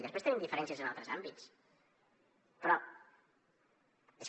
després tenim diferències en altres àmbits però és que